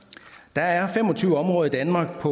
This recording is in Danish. der er fem og tyve områder i danmark